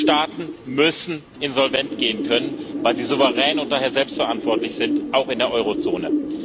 Staaten müssen insolvent gehen können, weil sie souverän und daher selbst verantwortlich sind, auch in der Eurozone.